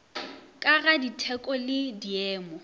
ka ga ditheko le diemo